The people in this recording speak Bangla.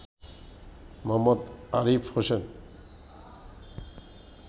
মোঃ আরিফ হোসেন